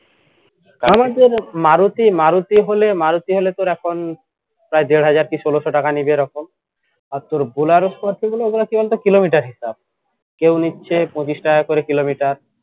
আমাদের মারুতি মারুতি হলে মারুতি হলে তোর এখন প্রায় দেড় হাজার কি ষোলোশো টাকা নিবে এরকম আর তোর বুলারও করতে গেলে ওগোলা কি বলতো কিলোমিটার হিসাব কেও নিচ্ছে পঁচিশ টাকা করে কিলোমিটার